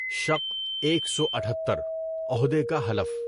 شق ایک سو اٹھتّر - عہدے کا حلف